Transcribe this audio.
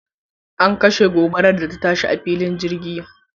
An kashe gobarar da ta shi a filin jirgin.